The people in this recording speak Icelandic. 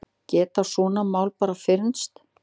Geta svona mál bara fyrnst?